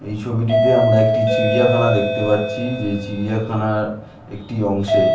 এই ছবিটিতে আমরা একটি চিড়িয়াখানা দেখতে পাচ্ছি যেই চিড়িয়াখানার একটি অংশে--